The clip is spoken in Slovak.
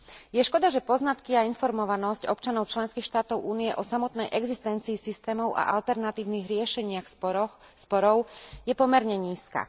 Je škoda, že poznatky a informovanosť občanov členských štátov Únie o samotnej existencii systémov a alternatívnych riešeniach sporov je pomerne nízka.